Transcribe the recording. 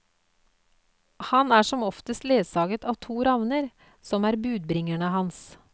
Han er som oftest ledsaget av to ravner, som er budbringerne hans.